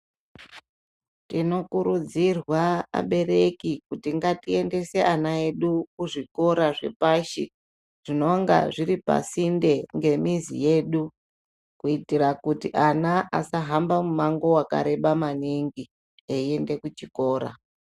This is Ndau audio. Tinokurudzirwa abereki kuti ngatiendese ana edu kuzvikora zvepashi zvinonga zviri pasinde ngemizi yedu kuitira kuti ana asahamba mumwango wakareba maningi eiende kuchikora.